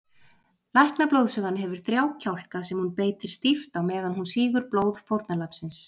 Læknablóðsugan hefur þrjá kjálka sem hún beitir stíft á meðan hún sýgur blóð fórnarlambsins.